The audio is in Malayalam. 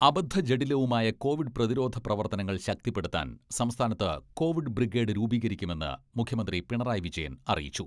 അബദ്ധജഡിലവുമായ കോവിഡ് പ്രതിരോധ പ്രവർത്തനങ്ങൾ ശക്തിപ്പെടുത്താൻ സംസ്ഥാനത്ത് കോവിഡ് ബ്രിഗേഡ് രൂപീകരിക്കുമെന്ന് മുഖ്യമന്ത്രി പിണറായി വിജയൻ അറിയിച്ചു.